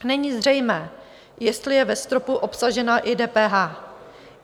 Není zřejmé, jestli je ve stropu obsažena i DPH.